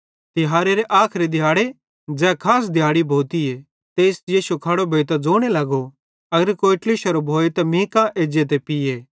तिहारेरे आखरी दिहाड़े ज़ै खास दिहाड़ी भोतीए तेइस यीशु खड़ो भोइतां ज़ोने लगो अगर कोई ट्लिश्शोरो भोए त मीं कां एज्जे ते पीये